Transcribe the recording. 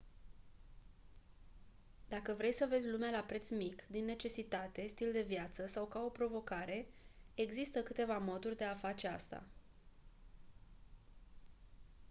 dacă vrei să vezi lumea la preț mic din necesitate stil de viață sau ca o provocare există câteva moduri de a face asta